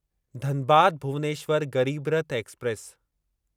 Dhanbad Bhubaneswar Garib Rath express